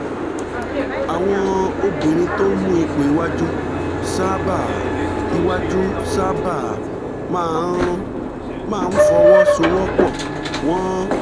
àwọn obìnrin tó ń mú ipò iwájú sábà iwájú sábà máa ń máa ń fọwọ́ sowọ́ pọ̀ wọ́n